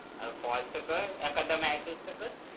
अर call तर कर एखादा message तर कर